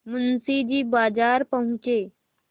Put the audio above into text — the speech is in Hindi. मुंशी जी बाजार पहुँचे